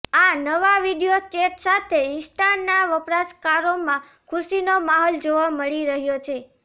આ નવા video chat સાથે ઇન્સ્ટાના વપરાશકારોમાં ખુશીનો માહોલ જોવા મળી રહ્યો છે